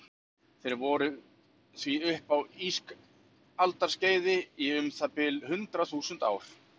Þeir voru því uppi á ísaldarskeiði í um það bil hundrað þúsund ár.